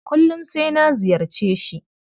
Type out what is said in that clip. Kullum sai na ziyarce shi.